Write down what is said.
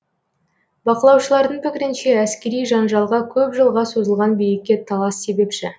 бақылаушылардың пікірінше әскери жанжалға көп жылға созылған билікке талас себепші